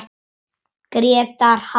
Grétar halti, Grétar halti!